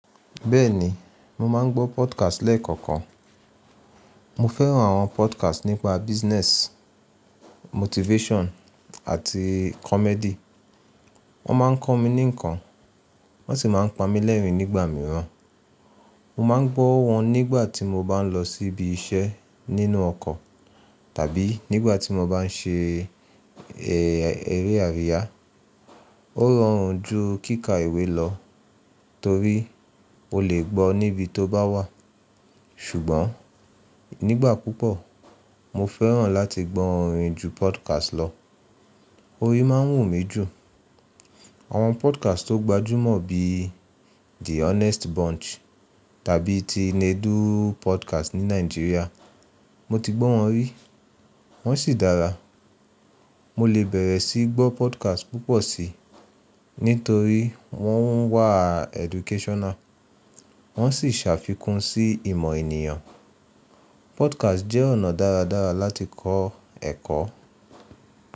Bẹ́ẹ̀ ni, mo máa ń gbọ́ podcast lẹ́ẹ̀kọ̀ọ̀kan. Mo fẹ́ràn àwọn podcast nípa business, motivation àti comedy. Wọ́n máa ń kọ́ mi ní nǹkan, wọ́n sì máa ń pa mí lẹ́rìn-ín nígbà mìíràn. Mo máa ń gbọ́ wọn nígbà tí mo bá ń lọ síbi iṣẹ́ nínú ọkọ̀ tàbí nígbà tí mo bá ń ṣe eré àríyá. Ó rọrùn ju kíkà ìwé lọ torí o lè gbọ́ ọ níbi tó bá wà. Ṣùgbọ́n nígbà púpọ̀, mo fẹ́ràn láti gbọ́ orin ju podcast lọ. Orin má ń wù mí jù. Àwọn podcast tó gbajúmọ̀ bí i The Honest Bunch tàbí ti Nedu Podcast ní Nàìjíríà, mo ti gbọ́ wọn rí, wọ́n sì dára. Mo lè bẹ̀rẹ̀ sí í gbọ́ podcast púpọ̀ si nítorí wọ́n wà educational, wọ́n sì ṣàfikún sí ìmọ̀ ènìyàn. Podcast jẹ́ ọ̀nà dáradára láti kọ́ ẹ̀kọ́.